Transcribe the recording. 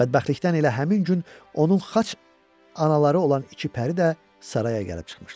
Bədbəxtlikdən elə həmin gün onun xaç anaları olan iki pəri də saraya gəlib çıxmışdılar.